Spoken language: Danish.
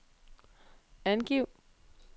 angiv